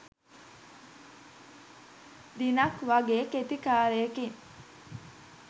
දිනක් වගේ කෙටි කාලයකින්.